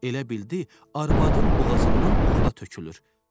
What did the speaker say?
Elə bildi, arvadın boğazından buğda tökülür.